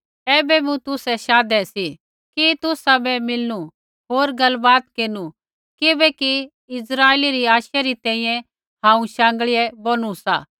ऐबै मैं तुसै शाधै सी कि तुसाबै मिलणू होर गलबात केरनु किबैकि इस्राइलै री आशै री तैंईंयैं हांऊँ शाँगीयै बोनुआ सा